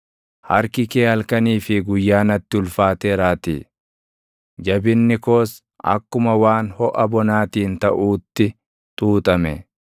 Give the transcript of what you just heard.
Harki kee halkanii fi guyyaa natti ulfaateeraatii; jabinni koos akkuma waan hoʼa bonaatiin taʼuutti xuuxame.